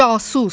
Casus!